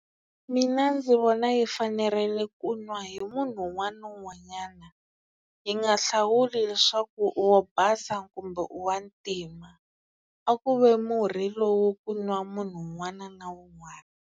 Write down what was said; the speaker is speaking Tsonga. Mina ndzi vona yi fanerile ku nwa hi munhu un'wana na un'wanyana yi nga hlawuli leswaku u wo basa kumbe u wa ntima a ku ve murhi lowu ku nwa munhu un'wana na un'wana.